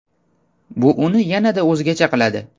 Bu uni yanada o‘zgacha qiladi.